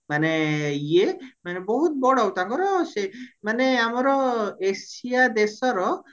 ମାନେ ଇଏ ମାନେ ବହୁତ ବଡ ତାଙ୍କର ସେ ମାନେ ଆମର ଏସିଆ ଦେଶର